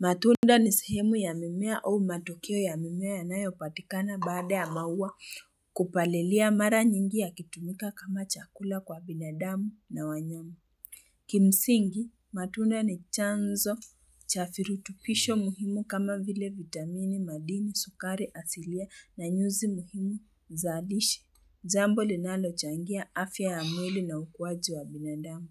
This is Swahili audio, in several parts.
Matunda ni sehemu ya mimea au matokeo ya mimea yanayopatikana baada ya maua kupalilia mara nyingi yakitumika kama chakula kwa binadamu na wanyama. Kimsingi, matunda ni chanzo cha virutubisho muhimu kama vile vitamini, madini, sukari, asilia na nyuzi muhimu za lishe. Jambo linalochangia afya ya mwili na ukuaji wa binadamu.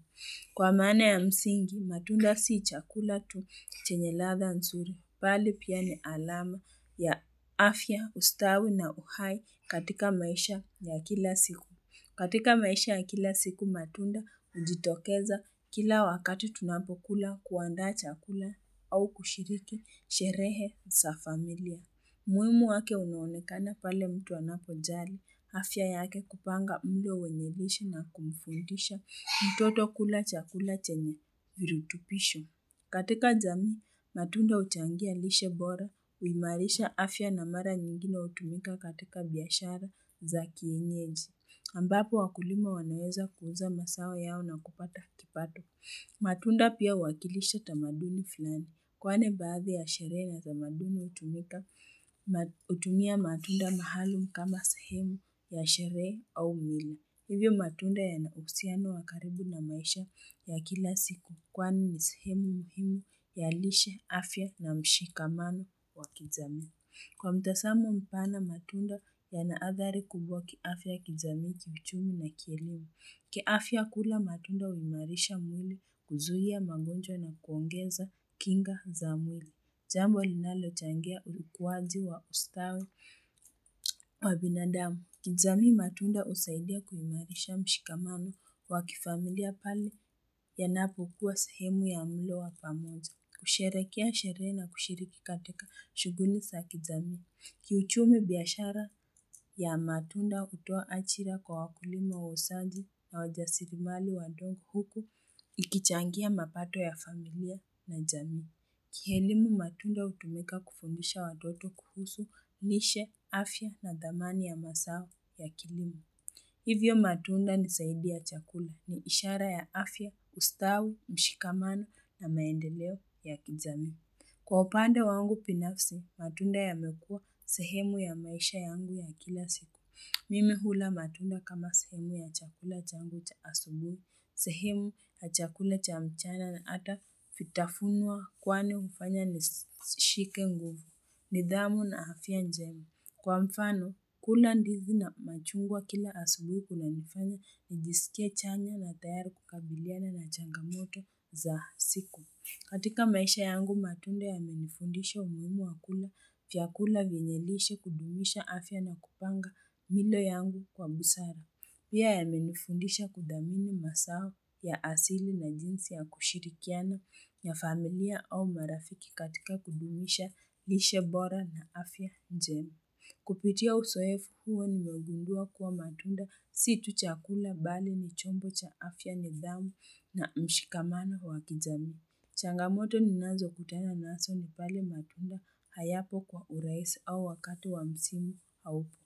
Kwa maana ya msingi, matunda si chakula tu chenye ladha nzuri, bali pia ni alama ya afya, ustawi na uhai katika maisha ya kila siku. Katika maisha ya kila siku, matunda hujitokeza kila wakati tunapokula kuandaa chakula au kushiriki sherehe za familia. Umuhimu wake unaonekana pale mtu anapojali afya yake kupanga mlo wenye lishe na kumfundisha mtoto kula chakula chenye virutubisho. Katika jamii, matunda huchangia lishe bora, huimarisha afya na mara nyingine hutumika katika biashara za kienyeji. Ambapo wakulima wanaweza kuuza mazao yao na kupata kipato. Matunda pia huwakilisha tamaduni fulani kwani baadhi ya sherehe na tamaduni hutumia matunda maalum kama sehemu ya sherehe au mila. Hivyo matunda yana uhusiano wa karibu na maisha ya kila siku kwani ni sehemu muhimu ya lishe afya na mshikamano wa kijamii. Kwa mtazamo mpana matunda yana athari kubwa kiafya kijamii kiuchumi na kielimu. Kiafya kula matunda huimarisha mwili kuzuia magonjwa na kuongeza kinga za mwili. Jambo linalochangia ukuaji wa ustawi wa binadamu. Kijamii matunda husaidia kuimarisha mshikamano wa kifamilia pale yanapokuwa sehemu ya mlo wa pamoja. Kusherehekea sherehe na kushiriki katika shughuli za kijamii. Kiuchumi biashara ya matunda hutoa ajira kwa wakulima wauzaji na wajasiriamali wadogo huku ikichangia mapato ya familia na jamii. Kielimu matunda hutumika kufundisha watoto kuhusu lishe, afya na thamani ya mazao ya kilimo. Hivyo matunda ni zaidi ya chakula ni ishara ya afya, ustawi, mshikamano na maendeleo ya kijamii. Kwa upande wangu binafsi, matunda yamekuwa sehemu ya maisha yangu ya kila siku. Mimi hula matunda kama sehemu ya chakula changu cha asubuhi, sehemu ya chakula cha mchana na hata vitafunwa kwani hufanya nishike nguvu. Nidhamu na afya njema. Kwa mfano, kula ndizi na machungwa kila asubuhi kunanifanya nijisikie chanya na tayari kukabiliana na changamoto za siku. Katika maisha yangu matunda yamenifundisha umuhimu wa kula vyakula vyenye lishe kudumisha afya na kupanga milo yangu kwa busara. Pia yamenifundisha kuthamini mazao ya asili na jinsi ya kushirikiana ya familia au marafiki katika kudumisha lishe bora na afya njema. Kupitia uzoefu huo nimegundua kuwa matunda si tu chakula bali ni chombo cha afya nidhamu na mshikamano wa kijamii. Changamoto ninazokutana nazo ni pale matunda hayapo kwa urahisi au wakati wa msimu haupo.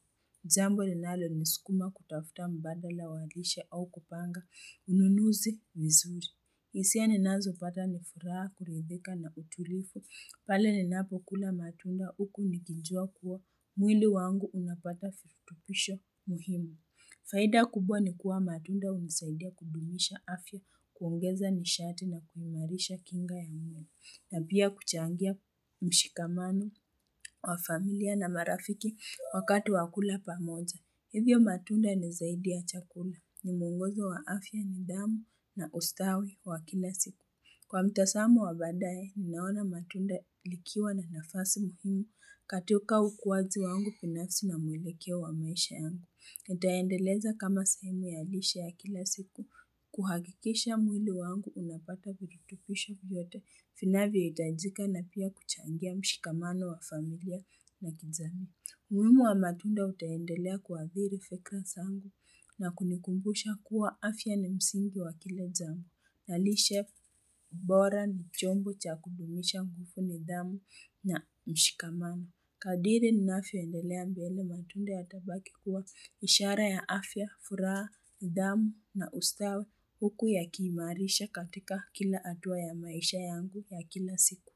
Jambo linalonisukuma kutafuta mbadala wa lishe au kupanga ununuzi vizuri. Hisia ninazopata ni furaha kuridhika na utulivu pale ninapokula matunda huku nikijua kuwa mwili wangu unapata virutubisho muhimu. Faida kubwa ni kuwa matunda hunisaidia kudumisha afya, kuongeza nishati na kuimarisha kinga ya mwili, na pia kuchangia mshikamano wa familia na marafiki wakati wa kula pamoja. Hivyo matunda ni zaidi ya chakula, ni mwongozo wa afya nidhamu na ustawi wa kila siku. Kwa mtazamo wa baadaye, ninaona matunda likiwa na nafasi muhimu katika ukuaji wangu binasi na mwelekeo wa maisha yangu. Nitaendeleza kama sehemu ya lishe ya kila siku, kuhakikisha mwili wangu unapata viritubisho vyote vinavyohitajika na pia kuchangia mshikamano wa familia na kijamii. Umuhimu wa matunda utaendelea kuathiri fikra zangu na kunikumbusha kuwa afya ni msingi wa kila jambo na lishe bora ni chombo cha kudumisha nguvu nidhamu na mshikamano. Kadiri ninavyoendelea mbele matunda yatabaki kuwa ishara ya afya, furaha, nidhamu na ustawi huku yakiimarisha katika kila hatua ya maisha yangu ya kila siku.